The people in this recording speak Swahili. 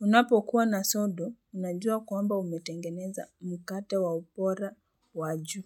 unapo kuwa na sodo unajua kwamba umetengeneza mkate wa upora wa juu.